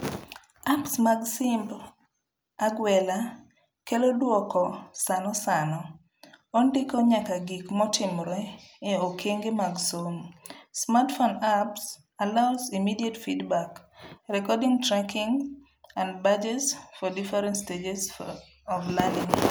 Apps mag simb agwela kelo duoko sano sano, ondiko nyakagik motimre e okenge mag somo. Smartphone apps allow immediate feedback, record tracking and badges for different stages of learning.